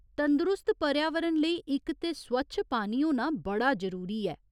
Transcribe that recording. तंदरुस्त पर्यावरण लेई इक ते स्वच्छ पानी होना बड़ा जरूरी ऐ।